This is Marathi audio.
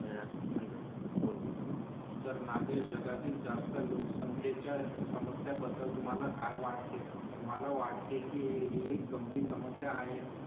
यार म्हणून बोलतो. तर नागेश जगातील जास्त लोकसंख्येच्या समस्यां बद्दल तुम्हाला काय वाटते? तुम्हाला वाटते की ही गंभीर समस्या आहे.